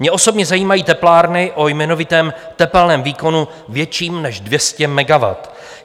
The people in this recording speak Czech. Mě osobně zajímají teplárny o jmenovitém tepelném výkonu větším než 200 megawattů.